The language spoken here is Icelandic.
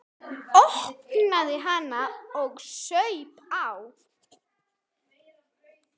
Opnaði hana og saup á.